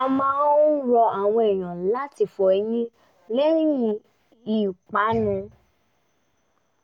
a máa rọ àwọn ènìyàn láti fọ eyín lẹ́yìn ìpanu